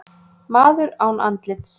Maður án andlits